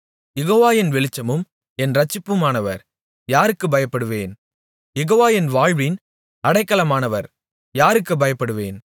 யெகோவா என் வெளிச்சமும் என் இரட்சிப்புமானவர் யாருக்குப் பயப்படுவேன் யெகோவா என் வாழ்வின் அடைக்கலமானவர் யாருக்கு பயப்படுவேன்